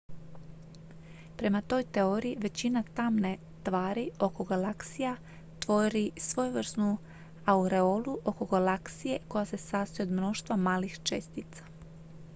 prema toj teoriji većina tamne tvari oko galaksija tvori svojevrsnu aureolu oko galaksije koja se sastoji od mnoštva malih čestica